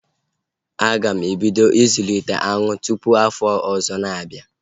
A ga m ebido ịzụlite aṅụ tụpụ afọ ọzọ na-abịa